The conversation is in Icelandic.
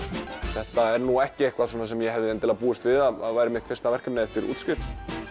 þetta er nú ekki eitthvað svona sem ég hefði endilega búist við að væri mitt fyrsta verkefni eftir útskrift